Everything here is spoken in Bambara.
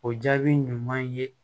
O jaabi ɲuman ye